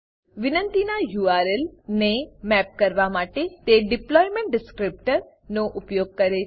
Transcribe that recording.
વિનંતિનાં URL URL ને map કરવા માટે તે ડિપ્લોયમેન્ટ ડિસ્ક્રિપ્ટર ડીપ્લોયમેંટ ડીસક્રીપ્ટર નો ઉપયોગ કરે છે